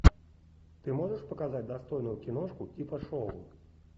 ты можешь показать достойную киношку типа шоу